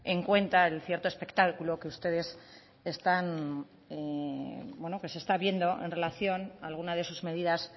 en cuenta el cierto espectáculo que ustedes están que se está viendo en relación a alguna de sus medidas